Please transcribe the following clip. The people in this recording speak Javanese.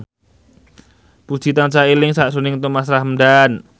Puji tansah eling sakjroning Thomas Ramdhan